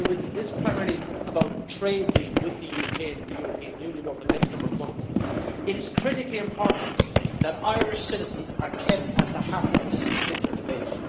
While this is primarily about a trade deal with the UK and the European Union over the next number of months, it is critically important that Irish citizens are kept at the heart of this particular debate.